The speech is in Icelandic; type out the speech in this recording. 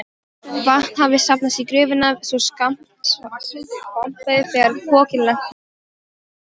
Vatn hafði safnast í gröfina svo skvampaði þegar pokinn lenti.